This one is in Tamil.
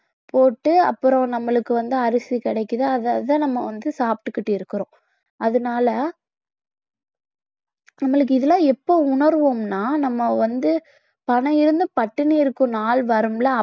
போட்டு அப்புறம் நம்மளுக்கு வந்து அரிசி கிடைக்குது அததான் நம்ம வந்து சாப்பிட்டுக்கிட்டு இருக்கிறோம் அதனால நம்மளுக்கு இதெல்லாம் எப்ப உணருவோம்னா நம்ம வந்து பணம் இருந்தும் பட்டினி இருக்கும் நாள் வரும் இல்ல